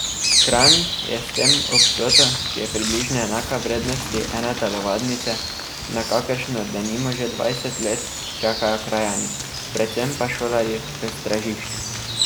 Kranj je s tem ob vsoto, ki je približno enaka vrednosti ene telovadnice, na kakršno denimo že dvajset let čakajo krajani, predvsem pa šolarji v Stražišču.